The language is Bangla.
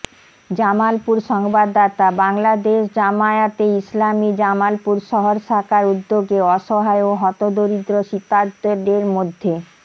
জামালপুর সংবাদদাতাঃ বাংলাদেশ জামায়াতে ইসলামী জামালপুর শহর শাখার উদ্যোগে অসহায় ও হতদরিদ্র শীতার্তদের মধ্যে